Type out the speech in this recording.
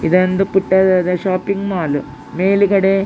ಇದೊಂದು ಪುಟ್ಟದಾದ shopping mall ಮೇಲುಗಡೆ --